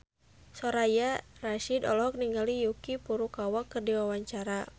Soraya Rasyid olohok ningali Yuki Furukawa keur diwawancara